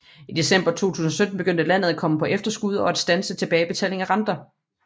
I december 2017 begyndte landet at komme på efterskud og at standse tilbagebetaling af renter